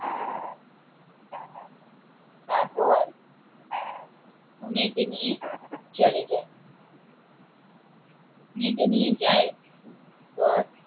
তারপর মেয়েকে নিয়ে চলে যায় মেয়েকে নিয়ে যায়